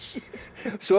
svo